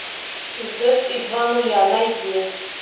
зед и два нуля найди